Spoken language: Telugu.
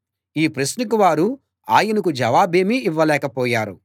ఈ ప్రశ్నకు వారు ఆయనకు జవాబేమీ ఇవ్వలేకపోయారు